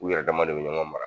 U yɛrɛ dama de bi ɲɔgɔn mara